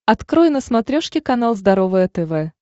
открой на смотрешке канал здоровое тв